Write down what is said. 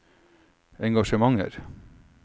engasjementer